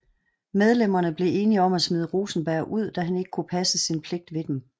Medlemmerne blev enige om at smide Rosenberg ud da han ikke kunne passe sin pligt ved dem